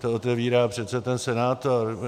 Ten otevírá přece ten senátor.